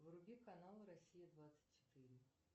вруби канал россия двадцать четыре